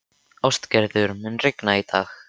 Ástgerður, mun rigna í dag?